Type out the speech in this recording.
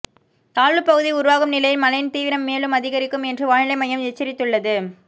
தாழ்வு பகுதி உருவாகும் நிலையில் மழையின் தீவிரம் மேலும் அதிகரிக்கும் என்று வானிலை மையம் எச்சரித்துள்ளது